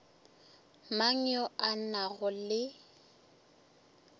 mang yo a nago le